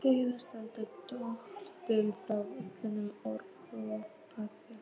Heiða sleit dolluna frá vörunum og ropaði.